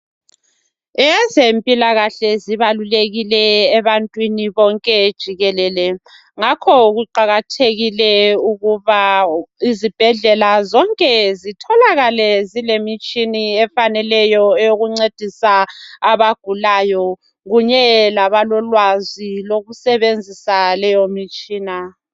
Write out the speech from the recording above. Ezempilakahle zibalulekile ebantwini bonke jikelele. Ngakho ke kuqakathekile ukuba izibhedlela zonke zitholakale zilemitshini efaneleyo eyokuncedisa abagulayo kunye labalolwazi lokusebenzisa leyomitshina